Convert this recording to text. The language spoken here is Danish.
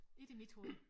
Ikke i mit hoved